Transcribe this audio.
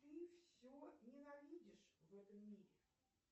ты все ненавидишь в этом мире